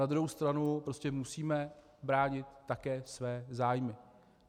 Na druhou stranu prostě musíme bránit také své zájmy.